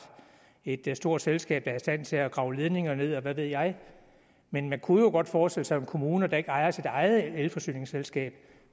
et stort selskab der er i stand til at grave ledninger ned og hvad ved jeg men man kunne jo godt forestille sig at en kommune der ikke ejer sit eget elforsyningsselskab